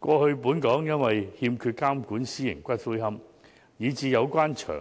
過去本港欠缺監管私營龕場，以致有關場